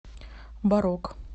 барок